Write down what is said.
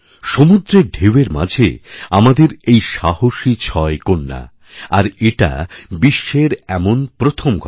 সমুদ্রের ঢেউয়ের মাঝে আমাদের এই সাহসী ছয় কন্যা আর এটা বিশ্বের এমন প্রথমঘটনা